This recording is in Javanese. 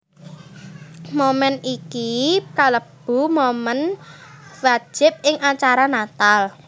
Moment iki kalebu momen wajib ing acara Natal